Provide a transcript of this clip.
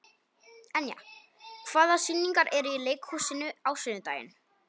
Enja, hvaða sýningar eru í leikhúsinu á sunnudaginn?